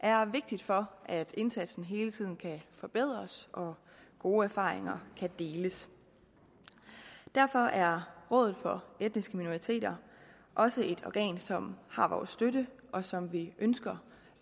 er vigtigt for at indsatsen hele tiden kan forbedres og gode erfaringer kan deles derfor er rådet for etniske minoriteter også et organ som har vores støtte og som vi ønsker